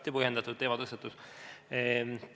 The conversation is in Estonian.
Igati põhjendatud teematõstatus.